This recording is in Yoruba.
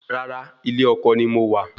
Rárá, ilé ọkọ ni mo wà